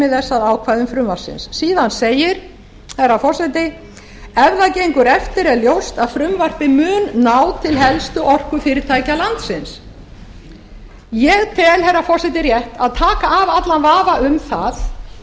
að ákvæðum frumvarpsins síðan segir herra forseti ef það gengur eftir er ljóst að frumvarpið mun ná til helstu orkufyrirtækja landsins ég tel herra forseti rétt að taka af allan vafa um það í